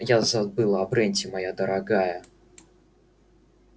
я забыла о бренте моя дорогая